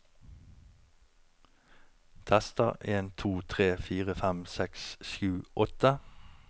Tester en to tre fire fem seks sju åtte